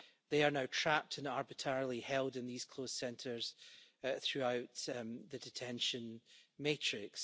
They are now trapped and arbitrarily held in these closed centres throughout the detention matrix.